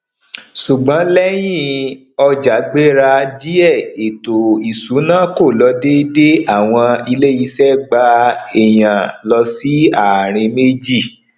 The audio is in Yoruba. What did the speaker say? ṣùgbọn lẹyìn ọjà gbéra díè eto isuna kò lọ dédé awon ile ise gba ẹyán lọ si àárín méjì